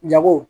Jago